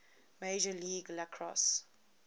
major league lacrosse